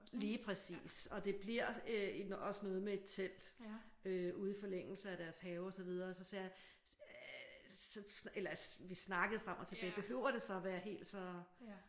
Lige præcis. Og det bliver øh også noget med et telt øh ude i forlængelse af deres have og så videre så sagde jeg øh vi snakkede frem og tilbage behøver det så at være helt så?